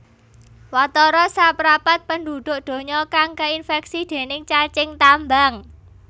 Watara saprapat penduduk donya kang keinfeksi déning cacing tambang